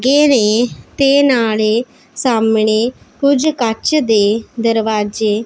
TV ਤੇ ਨਾਲੇ ਸਾਹਮਣੇ ਕੁਝ ਕੱਚ ਦੇ ਦਰਵਾਜੇ--